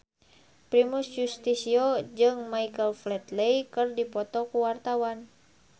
Primus Yustisio jeung Michael Flatley keur dipoto ku wartawan